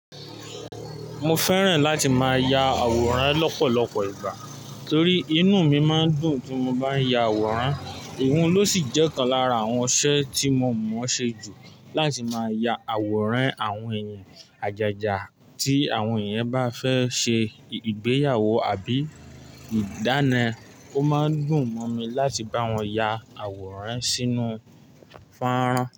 Mo fẹ́ràn láti máa ya àwòrán lọ́pọ̀lọpọ̀ ìgbà torí inú mi máa ń dùn tí mo bá ń ya àwòrán. Èèyún ló sì jẹ́ ọ̀kan lára àwọn iṣẹ́ tí mo mọ̀ ṣe jù. Láti máa ya àwòrán àwọn èèyàn, àjájá tí àwọn èèyàn bá fẹ́ ṣe ìgbéyàwó àbí ìdáná. Ó máa ń dùn mọ́ mi láti bá wọn ya àwòrán sínú fáánrán.